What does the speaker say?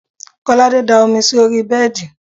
Kolade da omi sí orí bẹ́ẹ̀dì